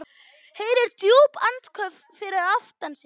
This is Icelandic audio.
Heyrir djúp andköf fyrir aftan sig.